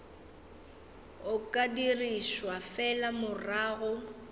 o ka dirišwa fela morago